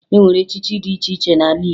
E nwere echichi dị iche iche n'ala Igbo